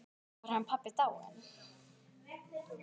Þá er hann pabbi dáinn.